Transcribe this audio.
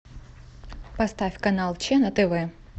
поставь канал че на тв